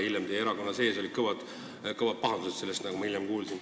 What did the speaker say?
Hiljem oli sellepärast teie erakonna sees kõva pahandus, nagu ma kuulsin.